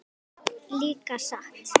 Líka satt?